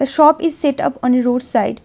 The shop is set up on a roadside .